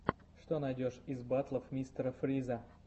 что найдешь из батлов мистера фриза